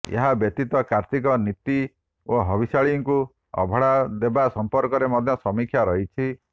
ଏହା ବ୍ୟତୀତ କାର୍ତ୍ତିକ ନୀତି ଓ ହବିଷ୍ୟାଳିଙ୍କୁ ଅବଢା ଦେବା ସଂପର୍କରେ ମଧ୍ୟ ସମୀକ୍ଷା ରହିଛି